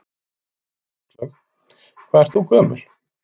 Áslaug: Hvað ert þú gömul?